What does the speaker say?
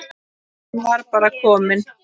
Hann var bara kominn.